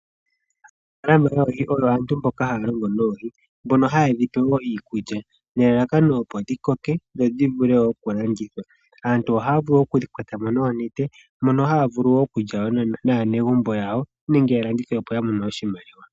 Aanafaalama yoohi oyo aantu mboka haya longo noohi. Mbono haye dhi pe iikulya opo dhi koke dho dhi vule oku landithwa. Aantu ohaya vulu oku thi kwata noonete. Ohaya vulu oku lya naanegumbo yawo nosho woo oku landitha opo ya mone oshimaliwa.